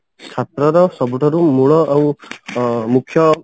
ଛାତ୍ରର ସବୁଠାରୁ ମୂଳ ଆଉ ଅ ମୁଖ୍ୟ